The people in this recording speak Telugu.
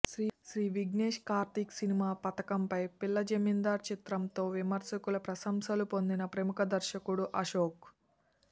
శ్రీ విఘ్నేష్ కార్తీక్ సినిమా పతాకంపై పిల్ల జమీందార్ చిత్రంతో విమర్శకుల ప్రశంసలు పొందిన ప్రముఖ దర్శకుడు అశోక్